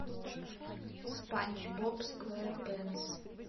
спанч боб сквепенс